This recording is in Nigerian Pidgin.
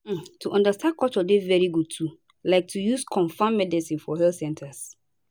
um to understand culture dey very good too like to use confam medicines for health centers